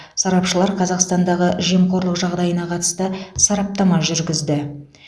сарапшылар қазақстандағы жемқорлық жағдайына қатысты сараптама жүргізді